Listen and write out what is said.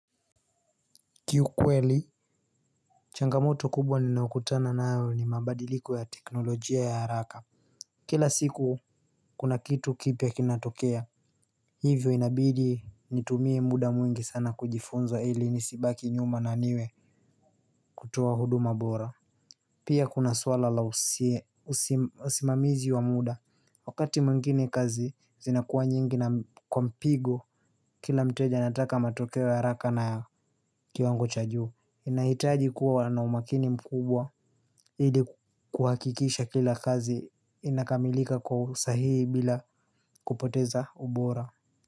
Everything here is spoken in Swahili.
Kiukweli changamoto kubwa ninayokutana nayo ni mabadiliko ya teknolojia ya haraka. Kila siku kuna kitu kipya kinatokea. Hivyo inabidi nitumie muda mwingi sana kujifunza ili nisibaki nyuma na niwe kutoa huduma boram. Pia kuna swala la usimamizi wa muda. Wakati mwingine kazi zinakuwa nyingi na kwa mpigo, kila mteja anataka matokeo ya haraka na kiwango cha juu. Inahitaji kuwa na umakini mkubwa, ili kuhakikisha kila kazi inakamilika kwa usahihi bila kupoteza ubora.